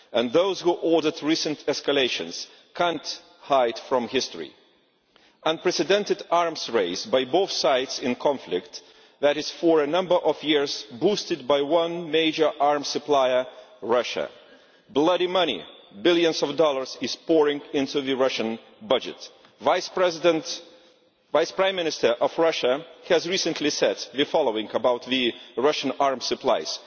Those who ordered the recent escalations cannot hide from history, an unprecedented arms race by both sides in a conflict that has for a number of years been boosted by one major arms supplier Russia. Blood money billions of dollars is pouring into the Russian budget. The Vice Prime Minister of Russia has recently said the following about the Russian arms supplies